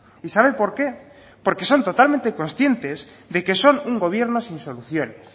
y sabe por qué porque son totalmente conscientes de que son un gobierno sin soluciones